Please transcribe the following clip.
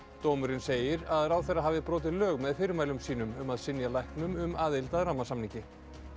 dómurinn segir að ráðherra hafi brotið lög með fyrirmælum sínum um að synja læknum um aðild að rammasamningi